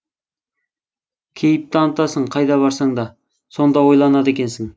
кейіп танытасың қайда барсаңда сонда ойланады екенсің